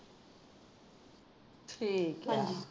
ਠੀਕ ਹੈ